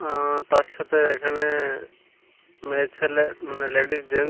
অ্যা তার সাথে এখানে মেয়ে ছেলে মানে লেডিস জেন--